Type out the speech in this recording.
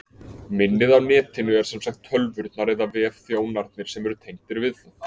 Minnið á Netinu er sem sagt tölvurnar eða vefþjónarnir sem eru tengdir við það.